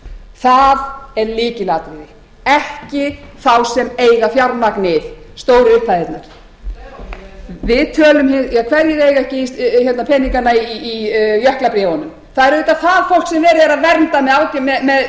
það er lykilatriði ekki sá sem eiga fjármagnið stóru upphæðirnar hverjir eiga peningana í jöklabréfunum það er auðvitað það fólk sem verið er að vernda með